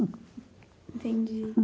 Entendi.